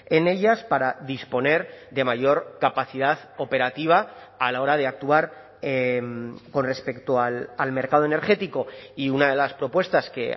en ellas para disponer de mayor capacidad operativa a la hora de actuar con respecto al mercado energético y una de las propuestas que